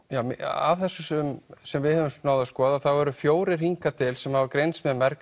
af þessum sem við höfum skoðað þá eru fjórar hingað til sem hafa greinst með